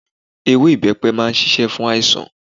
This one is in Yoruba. Ewé ibepe máa ń ṣíṣe fún àìsàn.